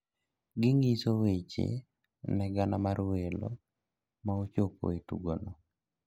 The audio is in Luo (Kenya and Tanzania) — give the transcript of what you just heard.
gi ngiso weche ne gana mar welo ma ochopo e tugo no